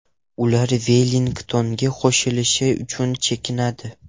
Ular Vellingtonga qo‘shilish uchun chekinadi.